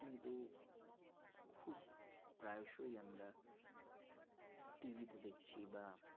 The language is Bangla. প্রায়শই আমরা TV তে দেখছি বা